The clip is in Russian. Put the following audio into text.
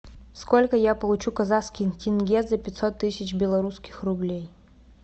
сколько я получу казахских тенге за пятьсот тысяч белорусских рублей